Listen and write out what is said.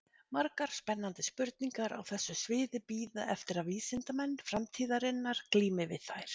Margar spennandi spurningar á þessu sviði bíða eftir að vísindamenn framtíðarinnar glími við þær.